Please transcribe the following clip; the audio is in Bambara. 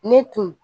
Ne tun